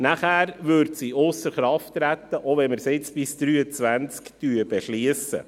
Danach würde sie ausser Kraft gesetzt, auch wenn wir sie jetzt bis 2023 beschliessen.